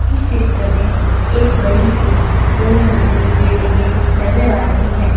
इस चित्र में एक बड़ी सी दो मंजिली बिल्डिंगे नज़र आ रही हैं।